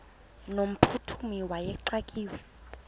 no mphuthumi wayexakiwe